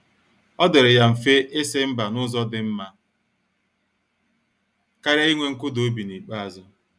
Ọ dịrị ya mfe isi mba n'ụzọ dị mma karịa inwe nkụda obi n'ikpeazụ.